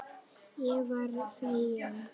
Ég varð fegin.